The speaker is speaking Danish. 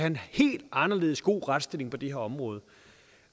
en helt anderledes god retsstilling på det her område